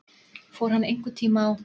Fór hann einhverntíma á